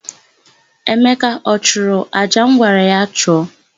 Emeka ọ chụrụ àjà m gwara ya chụọ?